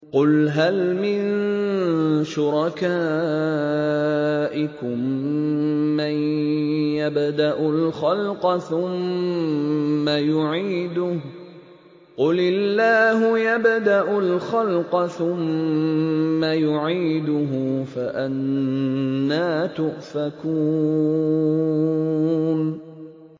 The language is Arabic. قُلْ هَلْ مِن شُرَكَائِكُم مَّن يَبْدَأُ الْخَلْقَ ثُمَّ يُعِيدُهُ ۚ قُلِ اللَّهُ يَبْدَأُ الْخَلْقَ ثُمَّ يُعِيدُهُ ۖ فَأَنَّىٰ تُؤْفَكُونَ